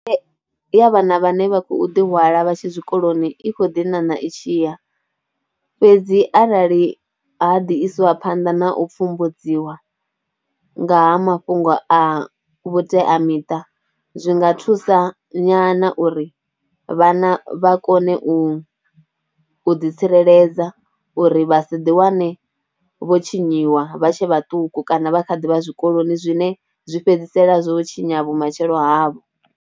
Ya vhana vhane vha khou ḓihwala vha tshe tshikoloni i kho ḓi ṋaṋa i tshi ya fhedzi arali ha ḓi iswa phanḓa na u pfumbudziwa nga ha mafhungo a vhuteamiṱa zwi nga thusa nyana uri vhana vha kone u u ḓitsireledza uri vha si ḓiwane vho tshinyiwa vha tshe vhaṱuku kana vha kha ḓi vha zwikoloni zwine zwi fhedzisela zwo tshinya vhumatshelo havho.